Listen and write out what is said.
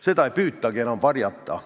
Seda ei püütagi enam varjata.